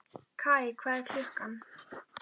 Kaj, hvað er klukkan?